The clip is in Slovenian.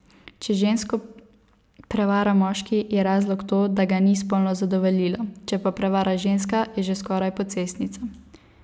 Če žensko prevara moški, je razlog to, da ga ni spolno zadovoljila, če pa prevara ženska, je že skoraj pocestnica.